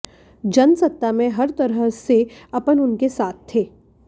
जनसत्ता में हर तरह से अपन उनके साथ थे